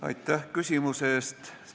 Aitäh küsimuse eest!